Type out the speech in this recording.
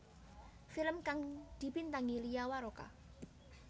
Film kang dibintangi Lia Waroka